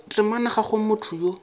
temana ga go motho yo